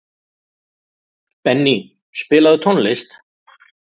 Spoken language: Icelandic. Benný, spilaðu tónlist.